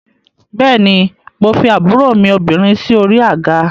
Bẹ́ẹ̀ ni, mo fi àbúrò mi obìnrin sí orí àga